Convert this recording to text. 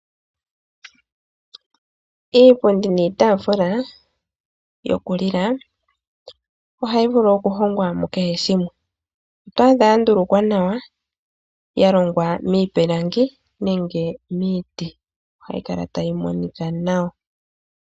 Iipundi niitaafula yokulila ohayi vulu okuhongwa mukehe shimwe . Oto adha yandulukwa nawa, yalongwa miipilangi nenge miiti. Ohayi kala tayi monika nawa.